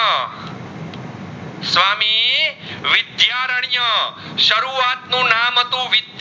ને વિદ્યારણીય સરુવત નું નામ હતું